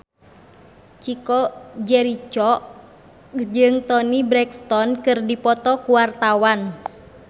Chico Jericho jeung Toni Brexton keur dipoto ku wartawan